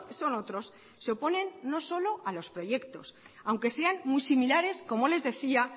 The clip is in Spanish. son otros se oponen no solo a los proyectos aunque sean muy similares